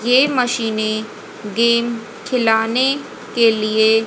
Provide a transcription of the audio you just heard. ये मशीने गेम खिलाने के लिए--